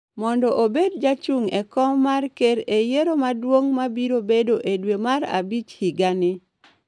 mondo obed jachung e kom mar ker e yiero maduong’ ma biro bedo e dwe mar Abich higa ni.